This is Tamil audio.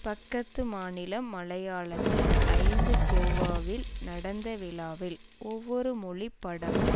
பக்கத்து மாநிலம் மலையாளத்தில் ஐந்து கோவாவில் நடந்த விழாவில் ஒவ்வொரு மொழி படமும்